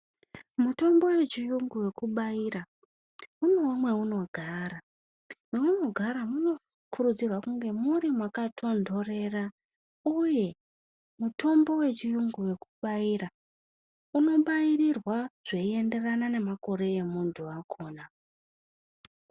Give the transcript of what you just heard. Mitombo wechiyungu wekubaira unewo mwaunogara maunogara munokurudzirwa kunge muri makatondorera uye mutombo wechiyungu wekubaira unobairirwa zveienderana nemakore emunthu wakona.